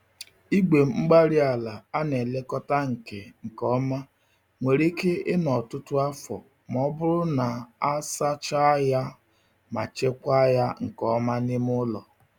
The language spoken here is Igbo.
Igwe-mgbárí-ala ana-elekọta nke nke ọma nwere ike ịnọ ọtụtụ afọ ma ọ bụrụ na a sachaa ya ma chekwaa ya nke ọma n'ime ụlọ.